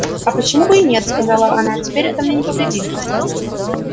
а почему бы и нет сказала она теперь это мне не повредит